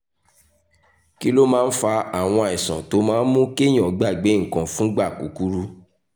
kí ló máa ń fa àwọn àìsàn tó máa ń mú kéèyàn gbàgbé nǹkan fúngbà kúkúrú?